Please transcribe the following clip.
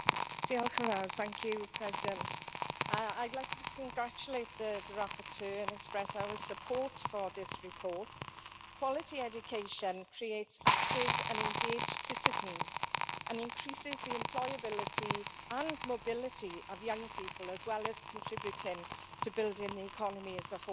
Mr President, I would like to congratulate the rapporteur and express our support for this report. Quality education creates active and engaged citizens and increases the employability and mobility of young people, as well as contributing to building the economy as a whole.